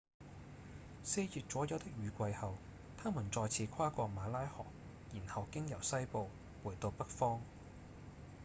四月左右的雨季後牠們再次跨過馬拉河然後經由西部回到北方